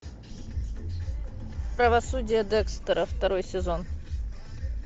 правосудие декстера второй сезон